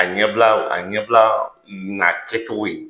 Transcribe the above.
A ɲɛbila a ɲɛbila na kɛcogo ye.